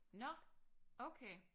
Nå! Okay